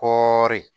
Kɔɔri